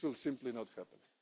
This will simply not happen.